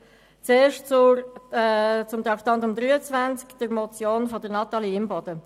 Zuerst zu Traktandum 23, der Motion Imboden.